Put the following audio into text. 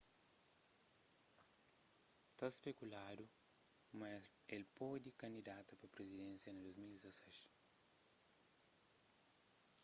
ta spekuladu ma el pode kandidata pa prizidensia na 2016